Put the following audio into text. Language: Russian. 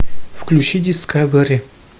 включи дискавери